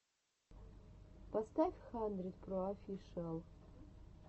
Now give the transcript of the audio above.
поставь хандридпроофишиал